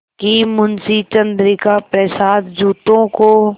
कि मुंशी चंद्रिका प्रसाद जूतों को